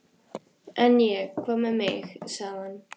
En ég. hvað með mig? sagði hann.